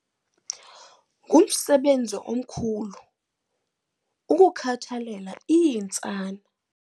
Ngumsebenzi omkhulu ukukhathalela iintsana.